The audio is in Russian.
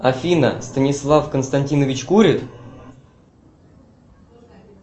афина станислав константинович курит